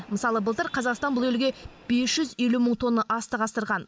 мысалы былтыр қазақстан бұл елге бес жүз елу мың тонна астық асырған